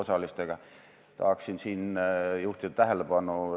Seda ei saa rahandusminister käia neile ütlemas.